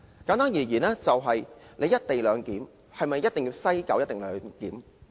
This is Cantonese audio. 簡單而言，"一地兩檢"是否一定要在西九龍站進行？